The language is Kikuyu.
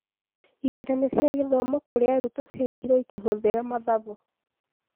Igeranio cia gĩthomo kũrĩ arutwo ciekirwo ĩkĩhũthĩra mathabu